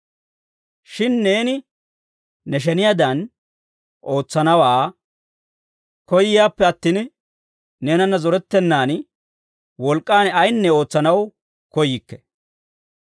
Shin neeni ne sheniyaadan ootsanaawaa koyyayippe attin, neenanna zorettennan wolk'k'an ayinne ootsanaw koyyikke.